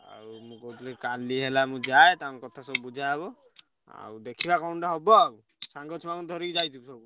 କଣ କହୁଛି କାଲି ହେଲା ମୁଁ ଯାଏ ତାଙ୍କ କଥା ସବୁ ବୁଝା ହବ। ଦେଖିବା କଣ ଗୋଟେ ହବ ଆଉ ସାଙ୍ଗ ଛୁଆଙ୍କୁ ଧରି ଯାଇଥିବୁ।